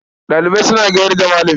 Ɗalibai suna gayar da Malami.